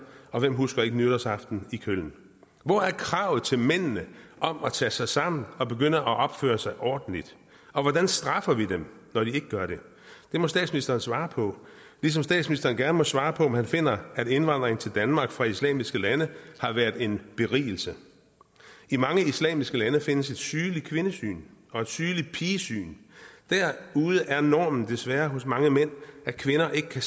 og hvem husker ikke nytårsaften i køln hvor er kravet til mændene om at tage sig sammen og begynde at opføre sig ordentligt og hvordan straffer vi dem når de ikke gør det det må statsministeren svare på ligesom statsministeren gerne må svare på om han finder at indvandring til danmark fra islamiske lande har været en berigelse i mange islamiske lande findes et sygeligt kvindesyn og et sygeligt pigesyn derude er normen desværre hos mange mænd at kvinder ikke kan